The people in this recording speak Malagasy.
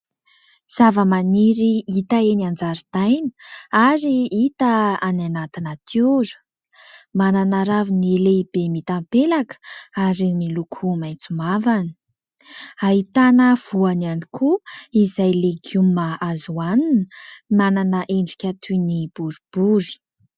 Zavamaniry hita eny an-jaridaina ary hita any anaty natiora. Manana raviny lehibe mitapelaka ary miloko maitso mavana, ahitana voany ihany koa izay legioma azo hohanina, manana endrika toy ny boribory.